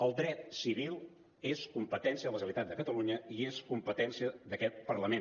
el dret civil és competència de la generalitat de catalunya i és competència d’aquest parlament